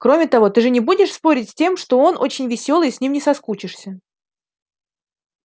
кроме того ты же не будешь спорить с тем что он очень весёлый и с ним не соскучишься